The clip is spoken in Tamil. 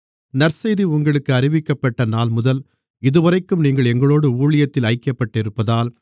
நற்செய்தி உங்களுக்கு அறிவிக்கப்பட்ட நாள்முதல் இதுவரைக்கும் நீங்கள் எங்களோடு ஊழியத்தில் ஐக்கியப்பட்டிருப்பதால்